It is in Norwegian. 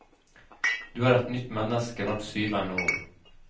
Du er et nytt menneske hvert syvende år.